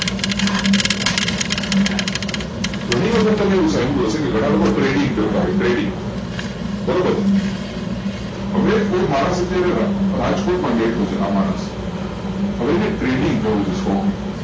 ઘણી વખત તમે એવું જાણિયું હશે કે ઘણા લોકો trading કરતા હોય trading બરોબર હવે કોઈ માણસ અત્યારે રાજકોટ માં ભેટુ છે આ માણસ હવે એને trading કરવું છે stock માં